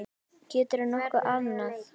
Geturðu nokkuð andað?